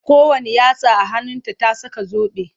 Kowanne yatsa a hannunta ta saka zobe.